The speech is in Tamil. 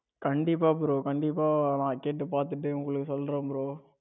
கண்டிப்பா bro கண்டிப்பா நான் கேட்டு பார்த்துட்டு உங்களுக்கு சொல்றேன் bro.